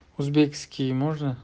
узбекский можно